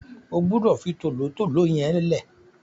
O gbúdọ̀ fi tòlótòló yẹn lẹ́ẹ̀!